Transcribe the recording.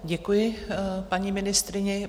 Děkuji paní ministryni.